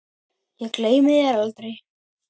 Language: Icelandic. Ég gleymi þér aldrei.